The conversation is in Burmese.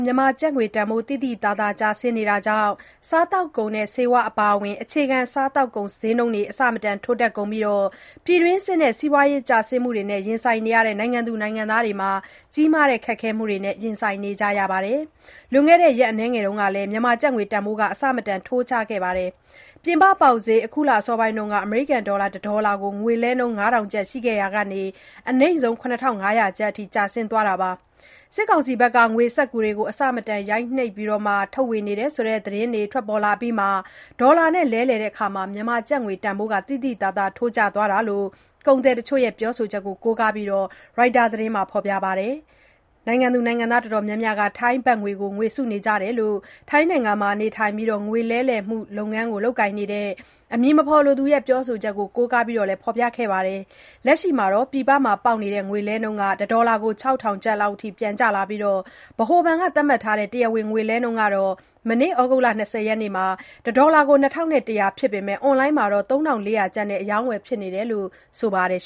မြန်မာငွေတန်ဖိုး သိသိသာသာ ကျဆင်းနေတာကြောင့် စားသောက်ကုန်နဲ့ ဆေးဝါးအပါအဝင် အခြေခံ စားသောက်ကုန် ဈေးနှုန်းတွေ အဆမတန် ထိုးတက်ကုန်ပြီး ပြည်တွင်းစစ်နဲ့ စီးပွားကျဆင်းမှုတွေနဲ့ ရင်ဆိုင်နေရတဲ့ တိုင်းသူ ပြည်သားတွေ ကြီးမားတဲ့ ခက်ခဲမှုတွေနဲ့ ရင်ဆိုင်နေကြရပါတယ်။ လွန်ခဲ့တဲ့ ရက်အနည်းငယ်အတွင်း မြန်မာကျပ်ငွေတန်ဖိုး အဆမတန် ထိုးကျသွားခဲ့တာမှာ ပြင်ပပေါက်ဈေး အခုလ အစောပိုင်းက တဒေါ်လာကို ၅,၀၀၀ ကျပ် ရှိခဲ့ရာက အနိမ့်ဆုံး ၇,၅၀၀ ကျပ်အထိ ကျသွားခဲ့ပါတယ်။ စစ်ကောင်စီက ငွေစက္ကူတွေ အဆမတန် ရိုက်နှိပ် ထုတ်ဝေနေတယ်ဆိုတဲ့ သတင်းတွေ ထွက်ပေါ်လာအပြီးမှာ ဒေါ်လာနဲ့ လဲလှယ်ရာမှာ ကျပ်ငွေတန်ဖိုးလည်း သိသိသာသာ ထိုးကျသွားခဲ့တယ်လို့ ကုန်သည်တချို့ရဲ့ ပြောဆိုချက်ကို ကိုးကားပြီး ရိုက်တာသတင်းမှာ ရေးပါတယ်။ ပြည်သူအတော်များများက ထိုင်းဘတ်ငွေကို ဝယ်စုနေကြတယ်လို့ ထိုင်းနိုင်ငံမှာ နေထိုင်ပြီး ငွေလဲလှယ်မှုလုပ်ငန်း လုပ်ကိုင်နေတဲ့ အမည်မဖော်လိုသူရဲ့ ပြောဆိုချက်ကို ကိုးကားပြီး ဖော်ပြထားတာပါ။ လက်ရှိမှာ ပြင်ပမှာ ပေါက်နေတဲ့ ငွေလဲနှုန်းက တဒေါ်လာကို ၆,၀၀၀ ကျပ်လောက်အထိ ပြန်ကျလာခဲ့ပြီး ဗဟိုဘဏ်က သတ်မှတ်ထားတဲ့ တရားဝင် ငွေလှဲနှုန်းကတော့ မနေ့ ဩဂုတ်လ ၂၀ ရက်နေ့မှာ တဒေါ်လာကို ၂,၁၀၀ ကျပ်ဖြစ်ပေမယ့် အွန်လိုင်းပေါ်မှာတော့ ၃,၄၀၀ ကျပ်နဲ့ အရောင်းအဝယ် ဖြစ်နေတယ်လို့လည်း ဆိုပါတယ်